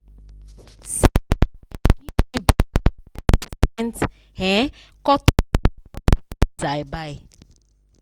sales guy give me better twelve percent um cut off for all the things i buy.